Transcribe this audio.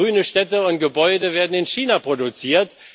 Grüne Städte und Gebäude werden in China produziert.